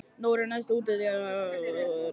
Nóri, læstu útidyrunum.